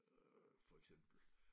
Øh for eksempel